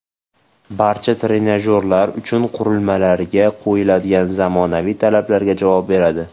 Barcha trenajyorlar uchish qurilmalariga qo‘yiladigan zamonaviy talablarga javob beradi.